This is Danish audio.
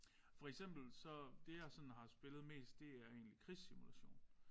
For eksempel så det jeg sådan har spillet mest det er egentlig krigssimulation